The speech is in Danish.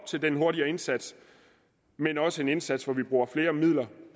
til den hurtigere indsats men også til en indsats hvor vi bruger flere midler